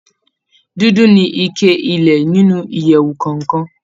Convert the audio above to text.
Dúdú ni ike ilẹ̀ inú ìyèwù kọọkan.